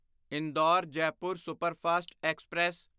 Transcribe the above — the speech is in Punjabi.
Indore Jaipur superfast express